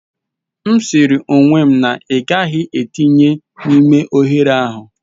M siri ọnwụ na ị gaghị etinye n'ime oghere ahụ.